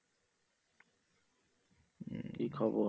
কি খবর?